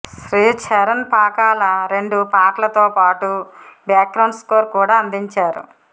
శ్రీచరణ్ పాకాల రెండు పాటలతో పాటు బ్యాక్గ్రౌండ్ స్కోరు కూడా అందించారు